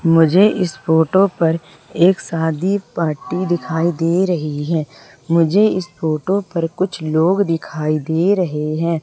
मुझे इस फोटो पर एक शादी पार्टी दिखाई दे रही है मुझे इस फोटो पर कुछ लोग दिखाई दे रहे है।